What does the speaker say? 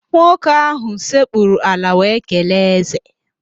Nwoke ahụ sekpuru ala wee kelee ézè